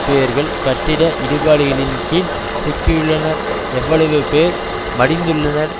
பேர்கள் கட்டிட இடுபாடுகளின்கீழ் சிக்கியுள்ளனர் எவ்வளவு பேர் மடிந்துள்ளனர்